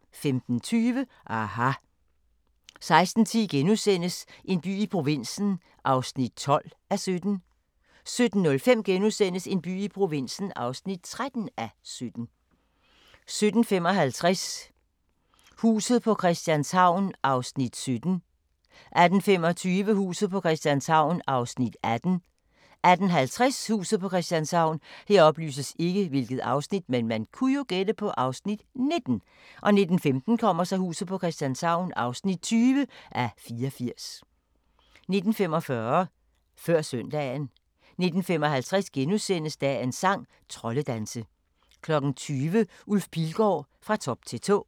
15:20: aHA! 16:10: En by i provinsen (12:17)* 17:05: En by i provinsen (13:17)* 17:55: Huset på Christianshavn (17:84) 18:25: Huset på Christianshavn (18:84) 18:50: Huset på Christianshavn 19:15: Huset på Christianshavn (20:84) 19:45: Før Søndagen 19:55: Dagens sang: Troldedanse * 20:00: Ulf Pilgaard – Fra top til tå